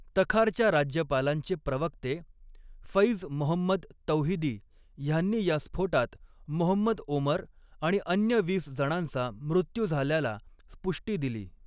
तखारच्या राज्यपालांचे प्रवक्ते फैज मोहम्मद तौहिदी ह्यांनी ह्या स्फोटात मोहम्मद ओमर आणि अन्य वीस जणांचा मृत्यू झाल्याला पुष्टी दिली.